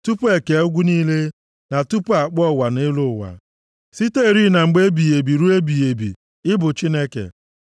Tupu e kee ugwu niile, + 90:2 \+xt Job 15:7; Ilu 8:25\+xt* na tupu a kpụọ ụwa na elu ụwa, siterị na mgbe ebighị ebi ruo ebighị ebi, ị bụ Chineke.